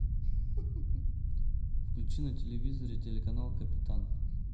включи на телевизоре телеканал капитан